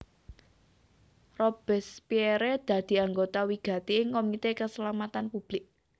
Robespierre dadi anggota wigati ing Komité Kaslametan Public